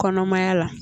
Kɔnɔmaya la